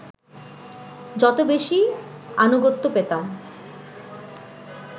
যত বেশি আনুগত্য পেতাম